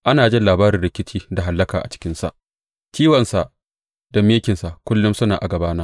Ana jin labarin rikici da hallaka a cikinsa; ciwonsa da mikinsa kullum suna a gabana.